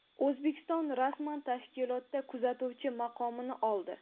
O‘zbekiston rasman tashkilotda kuzatuvchi maqomini oldi.